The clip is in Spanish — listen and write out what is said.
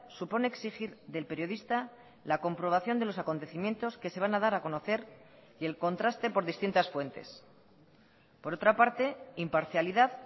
supone exigir del periodista la comprobación de los acontecimientos que se van a dar a conocer y el contraste por distintas fuentes por otra parte imparcialidad